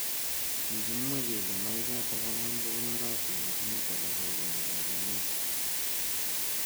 Kikimwa kele maichatak angwan kokonorotin ak mut alak kokeni kakenyet.